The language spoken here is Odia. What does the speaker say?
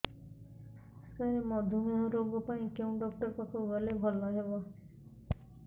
ସାର ମଧୁମେହ ରୋଗ ପାଇଁ କେଉଁ ଡକ୍ଟର ପାଖକୁ ଗଲେ ଭଲ ହେବ